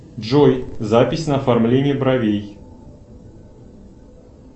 джой запись на оформление бровей